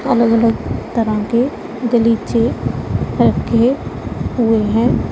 अलग अलग तरह के गलीचे रखे हुए हैं।